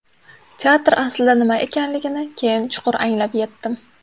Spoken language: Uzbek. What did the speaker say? Teatr aslida nima ekanligini keyin chuqur anglab yetdim.